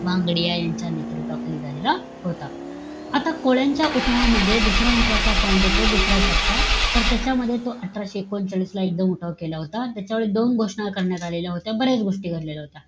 भांगडिया यांच्या नेतृत्वाखाली झालेला होता. आता कोळ्यांच्या उठावामध्ये दुसरा महत्वाचा point येतो दुसरा टप्पा, तर त्याच्यामध्ये तो अठराशे एकोणचाळीस ला एकदोन उठाव केला होता. आणि त्याच्यावेळी दोन घोषणा करण्यात आलेल्या होत्या. बऱ्याच गोष्टी घडलेल्या होत्या.